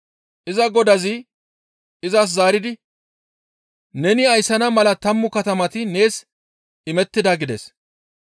«Iza godazi izas zaaridi, ‹Neni ayssana mala tammu katamati nees imettida› gides.